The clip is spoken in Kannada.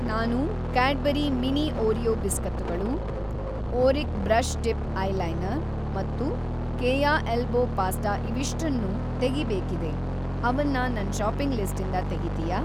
ನಾನು ಕ್ಯಾಡ್‌ಬರಿ ಮಿನಿ ಓರಿಯೋ ಬಿಸ್ಕತ್ತುಗಳು, ಓರಿಕ್ ಬ್ರಷ್‌ ಟಿಪ್‌ ಐಲೈನರ್ ಮತ್ತು ಕೇಯ ಎಲ್ಬೋ ಪಾಸ್ಟಾ ಇವಿಷ್ಟನ್ನೂ ತೆಗೀಬೇಕಿದೆ, ಅವನ್ನ ನನ್‌ ಷಾಪಿಂಗ್‌ ಲಿಸ್ಟಿಂದ ತೆಗೀತೀಯಾ?